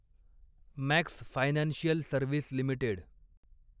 max financial service limited